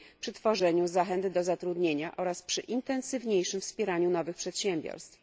przy tworzeniu zachęt do zatrudnienia oraz przy intensywniejszym wspieraniu nowych przedsiębiorstw.